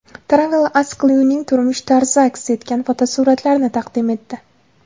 TravelAsk Lyuning turmush tarzi aks etgan fotosuratlarni taqdim etdi .